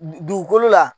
Dugukolo la